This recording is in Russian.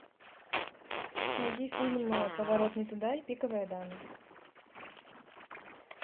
найди фильмы поворот не туда и пиковая дама